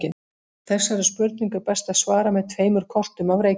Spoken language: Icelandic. Þessari spurningu er best að svara með tveimur kortum af Reykjavík.